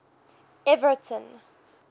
everton